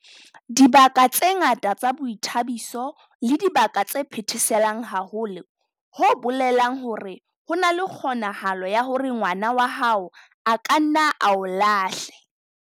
Dibaka tse ngata tsa boithabiso ke dibaka tse phetheselang haholo, ho bolelang hore ho na le kgonahalo ya hore ngwana wa hao a ka nna a o lahle